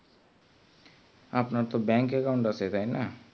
আপনার তো bank account আছে তাই না